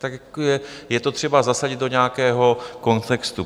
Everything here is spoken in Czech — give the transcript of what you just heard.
Tak je to třeba zasadit do nějakého kontextu.